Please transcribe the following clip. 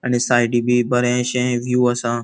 आणि सायडीं बी बरेशे विव असा.